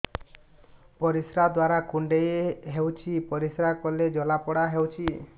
ପରିଶ୍ରା ଦ୍ୱାର କୁଣ୍ଡେଇ ହେଉଚି ପରିଶ୍ରା କଲେ ଜଳାପୋଡା ହେଉଛି